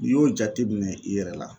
N'i y'o jateminɛ i yɛrɛ la